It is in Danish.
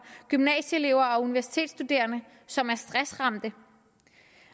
gymnasieelever og universitetsstuderende som er stressramte